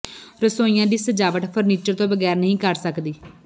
ਰਸੋਈਆਂ ਦੀ ਸਜਾਵਟ ਫਰਨੀਚਰ ਤੋਂ ਬਗੈਰ ਨਹੀਂ ਕਰ ਸਕਦੀ